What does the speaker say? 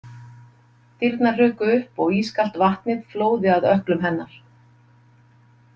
Dyrnar hrukku upp og ískalt vatn flóði að ökklum hennar.